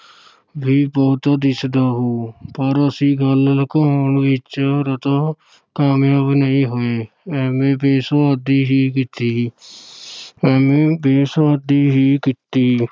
ਵੀ ਬਹੁਤਾ ਦਿਸਦਾ ਹੋਊ ਪਰ ਅਸੀਂ ਗੱਲ ਲੁਕਾਉਣ ਵਿੱਚ ਰਤਾ ਕਾਮਯਾਬ ਨਹੀਂ ਹੋਏ, ਐਵੇਂ ਬੇਸੁਆਦੀ ਹੀ ਕੀਤੀ ਐਵੇਂ ਬੇਸੁਆਦੀ ਹੀ ਕੀਤੀ।